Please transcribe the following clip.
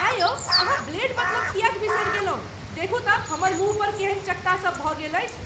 एँ यौ अहाँ ब्लेड बदलब किएक बिसरि गेलहुँ? देखू तँ हमर मुँह पर केहन चकत्ता सब भऽ गेल अछि!